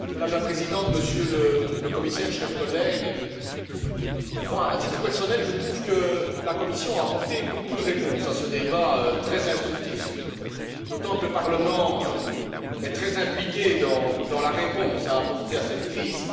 Madame la Présidente, Monsieur le Commissaire, chers collègues, à titre personnel, je trouve que la Commission a apporté beaucoup de réponses à ce débat très instructif, d'autant que le Parlement est très impliqué dans la réponse apportée à cette crise.